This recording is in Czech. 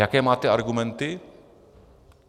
Jaké máte argumenty?